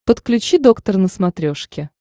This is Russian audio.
подключи доктор на смотрешке